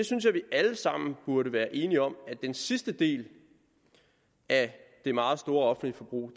synes at vi alle sammen burde være enige om at den sidste del af det meget store offentlige forbrug